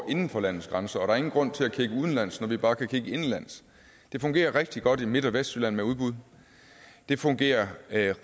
inden for landets grænser og der er ingen grund til at kigge udenlands når vi bare kan kigge indenlands det fungerer rigtig godt i midt og vestjylland med udbud det fungerer